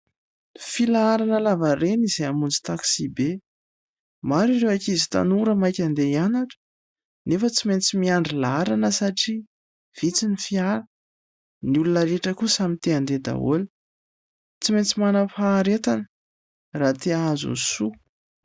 Filaharana lavareny izay hamonjy taksibe. Maro ireo ankizy tanora maika handeha hianatra nefa tsy maintsy miandry laharana satria vitsy ny fiara. Ny olona rehetra koa samy te-handeha daholo ; tsy maintsy manam-paharetana raha te-hahazo ny soa.